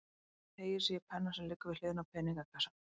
Hún teygir sig í penna sem liggur við hliðina á peningakassanum.